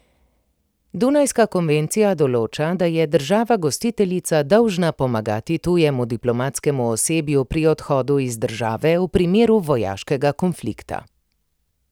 Dunajska konvencija določa, da je država gostiteljica dolžna pomagati tujemu diplomatskemu osebju pri odhodu iz države v primeru vojaškega konflikta.